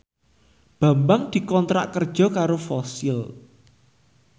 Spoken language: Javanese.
Bambang dikontrak kerja karo Fossil